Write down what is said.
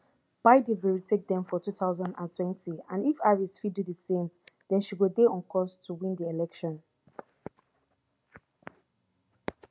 biden bin retake dem for two thousand and twenty and if harris fit do di same den she go dey on course to win di election